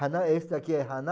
Haná, esse daqui é haná.